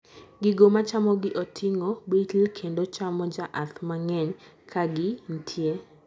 gigo machamo gi oting'o bitl kendo chamo jaath mang'eny ka gi ntie